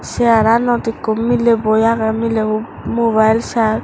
segar ranot ikkho miley boi agey mileybo mobile sar.